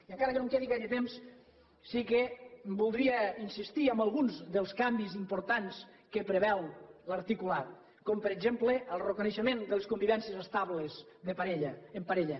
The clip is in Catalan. i encara que no em quedi gaire temps sí que voldria insistir en alguns dels canvis importants que preveu l’articulat com per exemple el reconeixement de les convivències estables de parella en parella